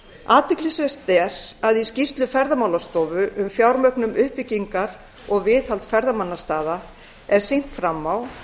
athyglisvert er að í skýrslu ferðamálastofu um fjármögnun uppbyggingar og viðhalds ferðamannastaða er sýnt fram á